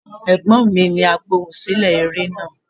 Ẹ̀gbọ́n mi ni Agbohùnsílẹ̀ eré náà.